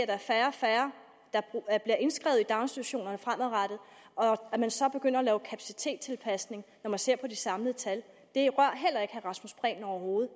er færre og færre der bliver indskrevet i daginstitutionerne fremadrettet at man så begynder at lave kapacitetstilpasning når man ser på det samlede tal det rører overhovedet